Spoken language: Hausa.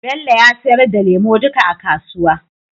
Bello ya sayar da lemu duka a kasuwa.